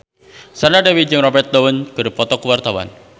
Sandra Dewi jeung Robert Downey keur dipoto ku wartawan